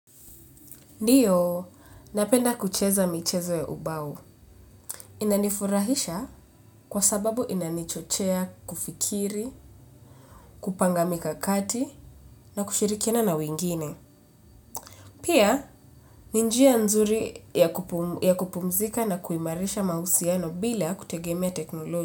Ndiyo, napenda kucheza michezo ya ubao. Inanifurahisha kwa sababu inanichochea kufikiri, kupangamika kati na kushirikiana na wengine. Pia, ninjia nzuri ya kupumzika na kuimarisha mahusiano bila kutegemea teknoloji.